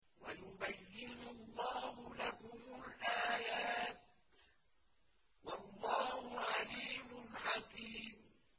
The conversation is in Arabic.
وَيُبَيِّنُ اللَّهُ لَكُمُ الْآيَاتِ ۚ وَاللَّهُ عَلِيمٌ حَكِيمٌ